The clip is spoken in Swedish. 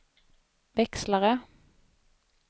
växlare